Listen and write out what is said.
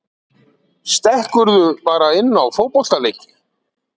Stekkurðu bara inn á fótboltaleiki?